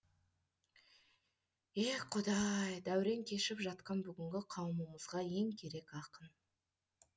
еее құдай дәурен кешіп жатқан бүгінгі қауымымызға ең керек ақын